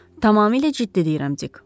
Tamamilə ciddi deyirəm, Dik.